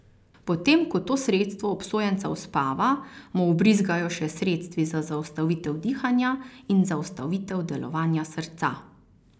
Potem ko to sredstvo obsojenca uspava, mu vbrizgajo še sredstvi za zaustavitev dihanja in zaustavitev delovanja srca.